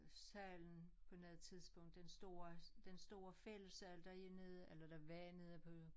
Salen på noget tidspunkt den store den store fællessal der er nede eller der var nede på